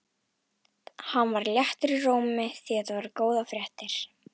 Hann var léttur í rómi því þetta voru góðar fréttir.